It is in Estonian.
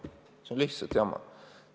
See on lihtsalt jama!